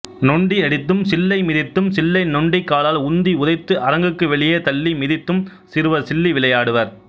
நொண்டி அடித்தும் சில்லை மிதித்தும் சில்லை நொண்டிக்காலால் உந்தி உதைத்து அரங்குக்கு வெளியே தள்ளி மிதித்தும் சிறுவர் சில்லி விளையாடுவர்